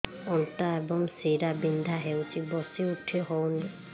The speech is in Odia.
ଅଣ୍ଟା ଏବଂ ଶୀରା ବିନ୍ଧା ହେଉଛି ବସି ଉଠି ହଉନି